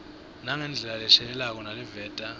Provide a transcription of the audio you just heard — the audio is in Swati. nangendlela leshelelako naleveta